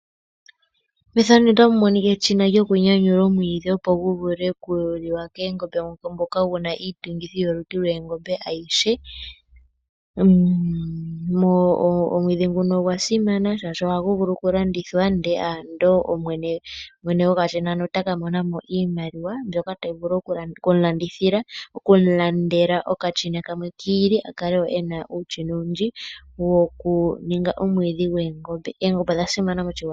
Efano otali ulike eshina lyoku nyanyula omwiidhi opo gu vule kuliwa keengombe ngoka guna iiiyungitho yolutu lwoongombe adhihe. Omwiidhi nguno ogwa simana shashi oha gu vulu oku landithwa ando ndele mwene gwokashina hano otaka mona mo iimaliwa mbyono hayi vulu oku mulandela okashina kamwe kiili akale wo ena uushina owundji woku ningi omwiidhi goongombe. Oongombe odha simana moshigwana.